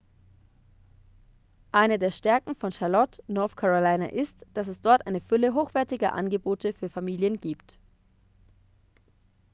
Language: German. eine der stärken von charlotte north carolina ist dass es dort eine fülle hochwertiger angebote für familien gibt